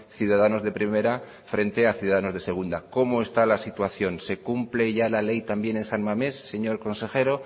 ciudadanos de primera frente a ciudadanos de segunda cómo está la situación se cumple ya la ley también en san mamés señor consejero